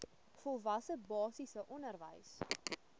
volwasse basiese onderwys